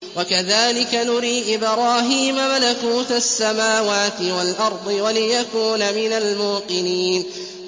وَكَذَٰلِكَ نُرِي إِبْرَاهِيمَ مَلَكُوتَ السَّمَاوَاتِ وَالْأَرْضِ وَلِيَكُونَ مِنَ الْمُوقِنِينَ